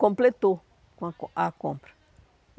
completou com a com a compra.